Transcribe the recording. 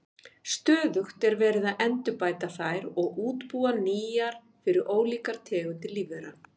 Stöðugt er verið að endurbæta þær og útbúa nýjar fyrir ólíkar tegundir lífvera.